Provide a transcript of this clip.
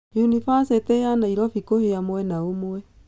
Unibacitĩ ya Nairobi kũhĩa mwena ũmwe.